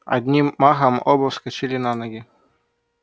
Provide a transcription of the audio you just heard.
одним махом оба вскочили на ноги